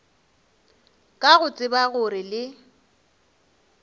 ka go tseba gore le